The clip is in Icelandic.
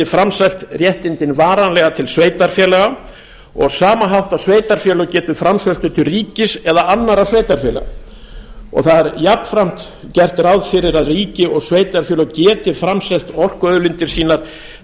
framselt réttindin varanlega til sveitarfélaga og á sama hátt að sveitarfélög geti framselt þau til ríkis eða annarra sveitarfélaga það er jafnframt gert ráð fyrir að ríki og sveitarfélög geti framselt orkuauðlindir sínar